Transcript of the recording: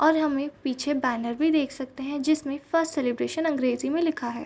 और हम एक पीछे बैनर भी देख सकते हैं जिसमें फर्स्ट सेलिब्रेशन अंग्रेजी में लिखा है।